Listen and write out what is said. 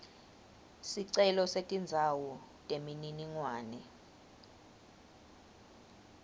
sicelo setindzawo temininingwane